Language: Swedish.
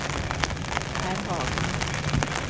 Pär Hagman